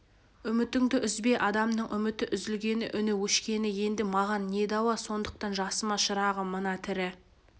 үмітіңді үзбе адамның үміті үзілгені үні өшкені енді маған не дауа сондықтан жасыма шырағым мына тірі